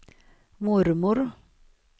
mormor